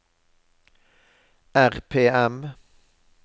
RPM